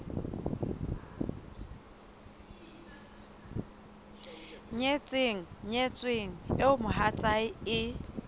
nyetseng nyetsweng eo mohatsae e